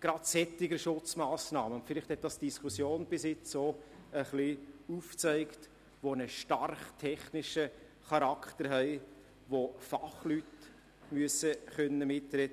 gerade solche Schutzmassnahmen – und vielleicht hat das die Diskussion bisher auch ein wenig aufgezeigt –, die einen stark technischen Charakter haben und bei der Fachleute mitreden können müssen.